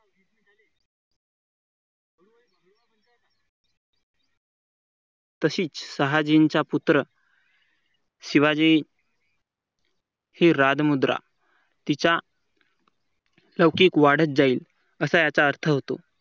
तसेच सहा जिनचा पुत्र शिवाजी हे राजमुद्रा तिचा लवकिक वाढत जाईल असा याचा अर्थ होतो.